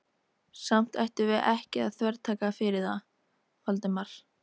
Samt ættum við ekki að þvertaka fyrir það, Valdimar.